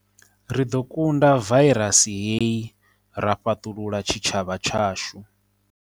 Ri ḓo kunda vairasi hei ra fhaṱulula tshitshavha tshashu.